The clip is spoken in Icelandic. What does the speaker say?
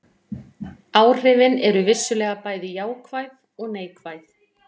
Áhrifin eru vissulega bæði jákvæð og neikvæð.